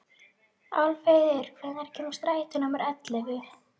Álfheiður, hvenær kemur strætó númer ellefu?